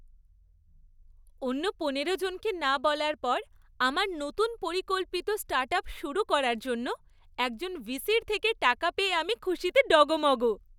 অন্য পনেরো জনকে না বলার পর আমার নতুন পরিকল্পিত স্টার্টআপ শুরু করার জন্য একজন ভিসির থেকে টাকা পেয়ে আমি খুশিতে ডগমগ!